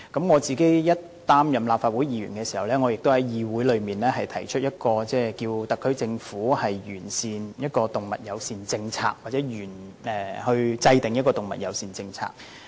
我剛擔任立法會議員時，也曾在議會提出一項議案，促請特區政府完善動物友善政策或制訂動物友善政策。